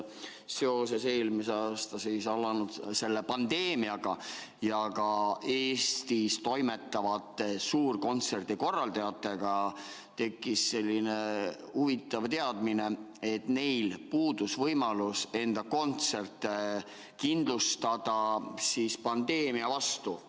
Seoses eelmisel aastal alanud pandeemiaga ja ka Eestis toimetavate suurte kontsertide korraldajate murega tekkis selline huvitav teadmine, et neil puudus võimalus enda kontserte kindlustada pandeemia vastu.